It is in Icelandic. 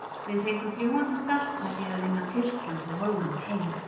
Við fengum fljúgandi start með því að vinna Tyrkland og Holland heima.